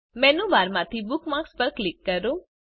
menu બારમાંથી bookmarks પર click કરો